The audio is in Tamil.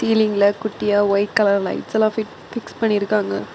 சீலிங்ல குட்டியா வைட் கலர் லைட்ஸெல்லா பிட் பிக்ஸ் பண்ணிருக்காங்க.